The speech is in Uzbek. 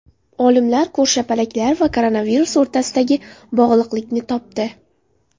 Olimlar ko‘rshapalaklar va koronavirus o‘rtasidagi bog‘liqlikni topdi.